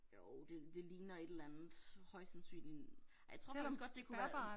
Jo det det ligner et eller andet højst sandsynligt. Ej jeg tror faktisk godt det kunne være en